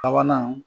Sabanan